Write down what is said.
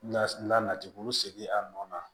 La la nati bolo sigi a nɔ na